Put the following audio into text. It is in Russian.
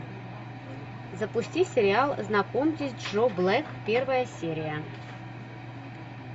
запусти сериал знакомьтесь джо блэк первая серия